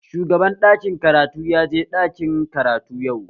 Shugaban ɗakin karatu ya je ɗakin karatu yau